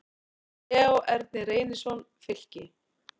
Leó Ernir Reynisson, Fylki